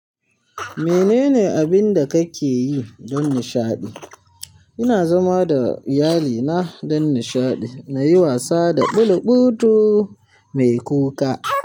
Menene abin da kake yi don nishaɗi? Ina zama da iyalina don nishaɗi, na yi wasa da bulubutu mai kuka.